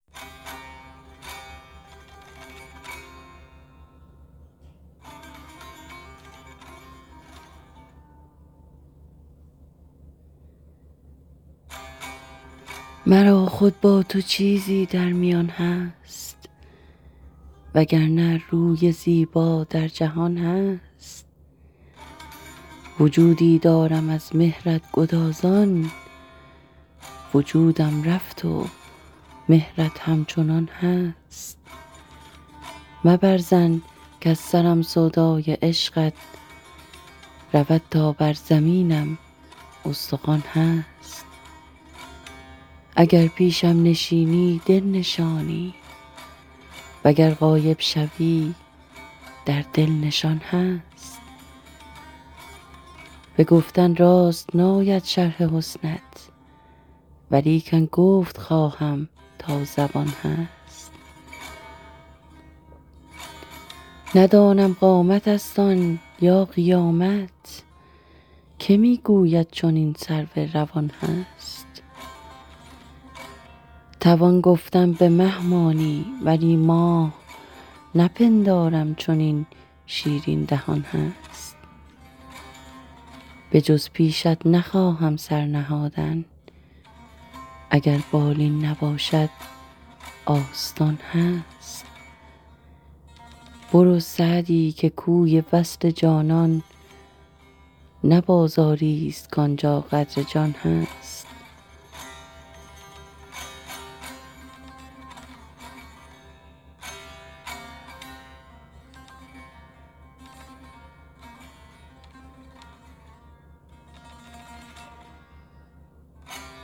مرا خود با تو چیزی در میان هست و گر نه روی زیبا در جهان هست وجودی دارم از مهرت گدازان وجودم رفت و مهرت همچنان هست مبر ظن کز سرم سودای عشقت رود تا بر زمینم استخوان هست اگر پیشم نشینی دل نشانی و گر غایب شوی در دل نشان هست به گفتن راست ناید شرح حسنت ولیکن گفت خواهم تا زبان هست ندانم قامتست آن یا قیامت که می گوید چنین سرو روان هست توان گفتن به مه مانی ولی ماه نپندارم چنین شیرین دهان هست بجز پیشت نخواهم سر نهادن اگر بالین نباشد آستان هست برو سعدی که کوی وصل جانان نه بازاریست کان جا قدر جان هست